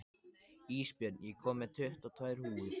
Ísbjörn, ég kom með tuttugu og tvær húfur!